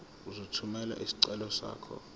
uzothumela isicelo sakho